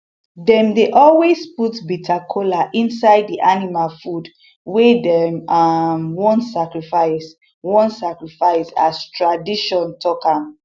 dem dey always put bitter kola inside di animal food wey dem um wan sacrifice wan sacrifice as tradition talk am